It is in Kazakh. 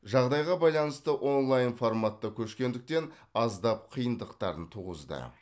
жағдайға байланысты онлаин форматқа көшкендіктен аздап қиындықтарын туғызды